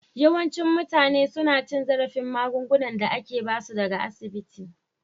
Yawancin mutane suna cin zarafin magungunan da ake ba su daga asibiti